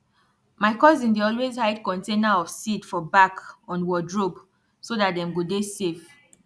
my cousin dey always hide container of seed for back on wardrobe so dat dem go dey safe